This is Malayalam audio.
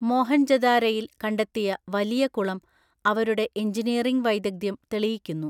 മോഹൻജൊദാരയിൽ കണ്ടെത്തിയ വലിയകുളം അവരുടെ എഞ്ചിനിയറിംഗ് വൈദഗ്ധ്യം തെളിയിക്കുന്നു.